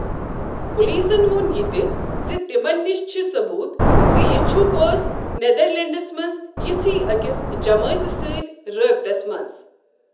پُلیٖسن ووٚن یہِ تہِ ز تِمن نِش چھ ثبوٗت زِ یہِ چھۄكھ ٲس نیدرلینٛڈس منٛز یژھی أکِس جمٲژ سٕتۍ رابِطس منٛز۔